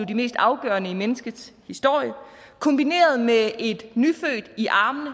de mest afgørende i menneskets historie kombineret med en nyfødt i armene